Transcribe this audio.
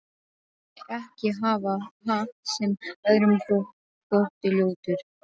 Ég vildi ekki hafa hatt sem öðrum þótti ljótur.